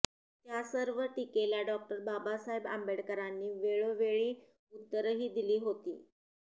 त्या सर्व टीकेला डॉ बाबासाहेब आंबेडकरांनी वेळोवेळी उत्तरंही दिली होती